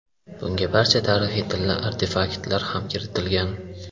Bunga barcha tarixiy tilla artefaktlar ham kiritilgan.